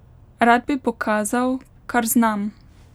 Rad bi pokazal, kar znam.